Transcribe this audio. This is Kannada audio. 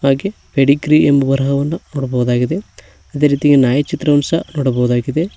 ಇಲ್ಲಿ ಪೆಡಿಗ್ರೀ ಎಂಬ ಬರಹವನ್ನು ನೋಡಬಹುದಾಗಿದೆ ಅದೇ ರೀತಿ ನಾಯಿ ಚಿತ್ರವನ್ನು ಸಹ ನೋಡಬಹುದಾಗಿದೆ.